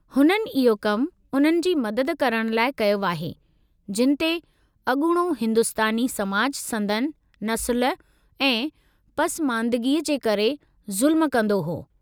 हुननि इहो कमु उन्हनि जी मदद करणु लाइ कयो आहे, जिनि ते अॻूणो हिंदुस्तानी समाज संदनि नस्लु ऐं पसमांदगीअ जे करे ज़ुल्मु कंदो हो।